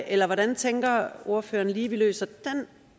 eller hvordan tænker ordføreren lige vi løser den